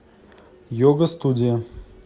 йога студия